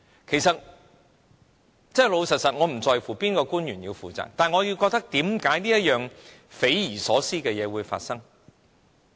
其實，坦白說，我不在乎哪位官員要負責，但我疑惑為何這件匪夷所思的事會發生？